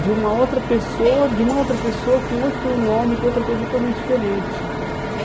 de uma outra pessoa, de uma outra pessoa com outro nome, com outra coisa totalmente diferente.